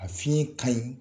A fiɲɛ ka ɲi